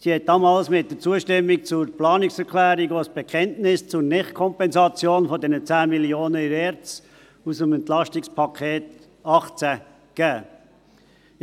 Sie gab damals mit der Zustimmung zur Planungserklärung auch ein Bekenntnis zur Nicht-Kompensation dieser 10 Mio. Franken aus dem EP 2018 in der ERZ ab.